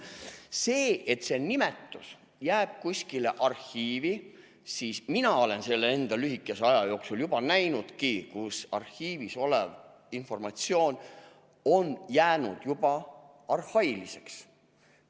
See, et see nimetus jääb kuskile arhiivi, aga mina olen selle enda lühikese aja jooksul juba näinudki, kus arhiivis olev informatsioon on jäänud arhailiseks.